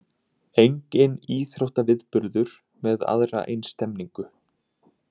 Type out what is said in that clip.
Enginn íþróttaviðburður með aðra eins stemningu